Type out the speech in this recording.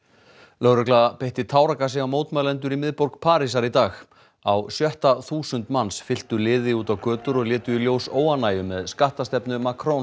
lögregla beitti táragasi á mótmælendur í miðborg Parísar í dag á sjötta þúsund manns fylktu liði út á götur og létu í ljós óánægju með skattastefnu